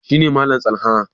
shi ne Malam tsalha